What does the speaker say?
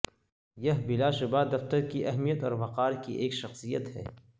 یہ بلاشبہ دفتر کی اہمیت اور وقار کی ایک شخصیت ہے